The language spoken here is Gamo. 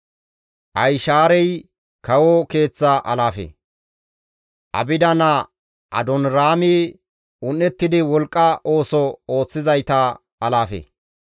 Ahishaarey kawo keeththa alaafe; Abida naa Adooniraami un7ettidi wolqqa ooso ooththizayta alaafe.